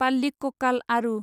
पाल्लिककाल आरु